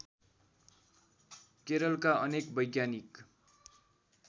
केरलका अनेक वैज्ञानिक